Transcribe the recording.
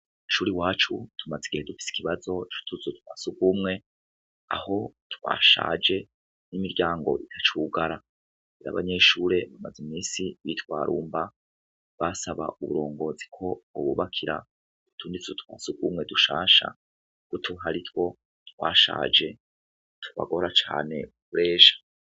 Icuri wacu tumaze igihe dufise ikibazo cutuzo twasugumwe aho twashaje n'imiryango ita cugara iriabanyeshure bamaze mimisi bitwarumba basaba uburongozi ko bobubakira utunditswe twansugumwe dushasha kutuharitwo twa shaje bagora cane mrejha.